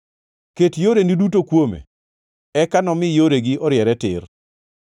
ket yoreni duto kuome eka nomi yoregi oriere tir.